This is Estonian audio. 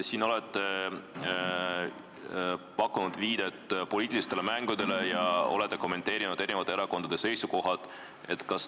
Te siin olete pakkunud viidet poliitilistele mängudele ja kommenteerinud eri erakondade seisukohti.